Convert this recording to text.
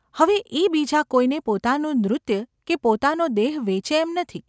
હવે એ બીજા કોઈને પોતાનું નૃત્ય કે પોતાનો દેહ વેચે એમ નથી.